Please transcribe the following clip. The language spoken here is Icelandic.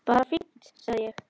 Bara fínt sagði ég.